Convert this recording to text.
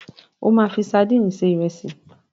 O máa fi sadíìnì se ìrẹsì.